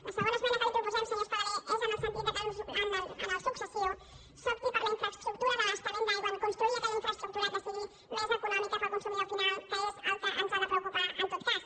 la segona esmena que li proposem senyor espadaler és en el sentit que en el futur s’opti per la infraestructura d’abastament d’aigua per construir aquella infraestructura que sigui més econòmica per al consumidor final que és el que ens ha de preocupar en tot cas